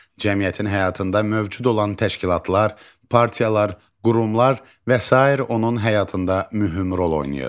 Cəmiyyətin həyatında mövcud olan təşkilatlar, partiyalar, qurumlar və sair onun həyatında mühüm rol oynayır.